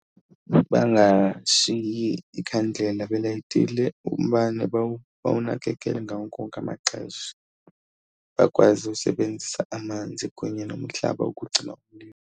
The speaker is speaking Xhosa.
Bangashiyi ikhandlela belayitile, umbane bawunakekele ngawo wonke amaxesha, bakwazi usebenzisa amanzi kunye nomhlaba ukucima umlilo.